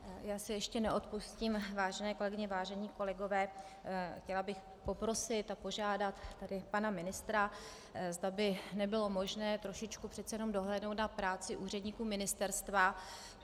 Já si ještě neodpustím, vážené kolegyně, vážení kolegové, chtěla bych poprosit a požádat tady pana ministra, zda by nebylo možné trošičku přece jenom dohlédnout na práci úředníků ministerstva.